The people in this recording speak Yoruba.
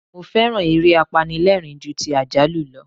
Mo féràn eré apanilẹ́rìń ju ti àjálù lọ.